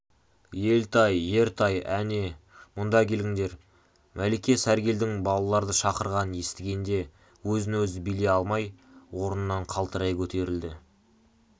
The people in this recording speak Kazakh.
елтай ертай ане мұнда келіңдер мәлике сәргелдің балаларды шақырғанын естігенде өзін-өзі билей алмай орнынан қалтырай көтерілді